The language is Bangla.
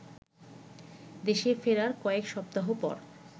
দেশে ফেরার কয়েকসপ্তাহ পর